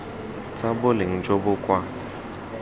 tsa boleng jo bo kwa